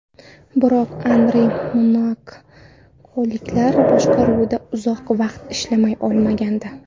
Biroq Anri monakoliklar boshqaruvida uzoq vaqt ishlay olmagandi.